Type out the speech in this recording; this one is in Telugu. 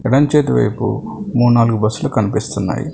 ఎడమ్ చేతివైపు ముడ్నాలుగు బస్సులు కనిపిస్తున్నాయి.